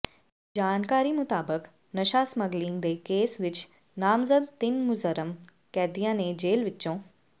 ਜਾਣਕਾਰੀ ਮੁਤਾਬਕ ਨਸ਼ਾ ਸਮੱਗਲਿੰਗ ਦੇ ਕੇਸ ਵਿਚ ਨਾਮਜ਼ਦ ਤਿੰਨ ਮੁਜਰਮ ਕੈਦੀਆਂ ਨੇ ਜੇਲ ਵਿਚੋਂ